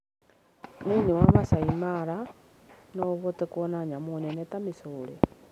Thĩinĩ wa Maasai Mara, no ũhote kuona nyamũ nene ta mĩcore.